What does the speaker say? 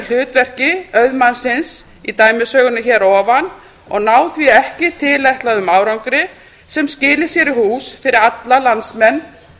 hlutverki auðmannsins í dæmisögunni hér að ofan og ná því ekki tilætluðum árangri sem skili sér í hús fyrir alla landsmenn